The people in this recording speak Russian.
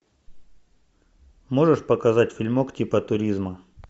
можешь показать фильмок типа туризма